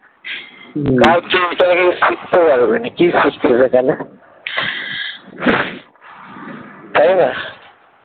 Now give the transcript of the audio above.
কাজ তো এখনো শিখতে পারোনি কি শিখছিস এখানে তাই না?